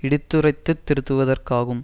இடித்துரைத்துத் திருத்துவதற்காகும்